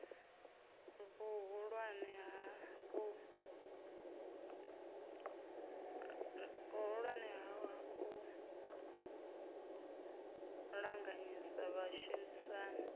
vhuhulwane ha u ṱanganyisa vhashumisani